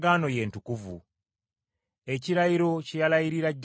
ekirayiro kye yalayirira jjajjaffe Ibulayimu,